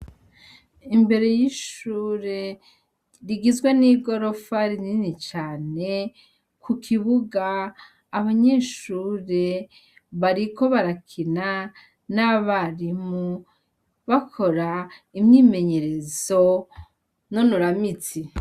Imbere yishure rigizwe nigorofa rinini cane kukibuga abanyeshure bariko barakina nabarimu bakora imyimenyerezo nonora mitsi